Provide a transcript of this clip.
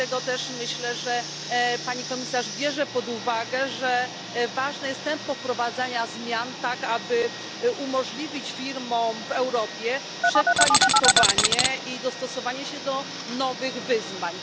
Dlatego też myślę, że Pani Komisarz bierze pod uwagę, że ważne jest tempo wprowadzania zmian, tak aby umożliwić firmom w Europie przekwalifikowanie i dostosowanie się do nowych wyzwań.